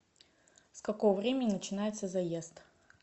с какого времени начинается заезд